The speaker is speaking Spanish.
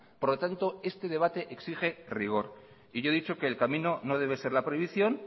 por lo tanto este debate exige rigor yo he dicho que el camino no debe ser la prohibición